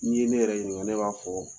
N'i ne yɛrɛ ɲininka ne b'a fɔ